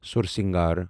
سورسنگار